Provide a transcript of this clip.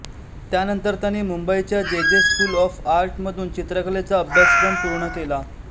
त्यानंतर त्यांनी मंुबईच्या J J school of art मधून चित्रकलेचा अभ्यासक्रम पूर्ण केला